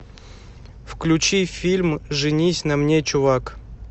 включи фильм женись на мне чувак